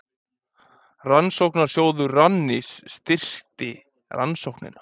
Rannsóknasjóður Rannís styrkti rannsóknina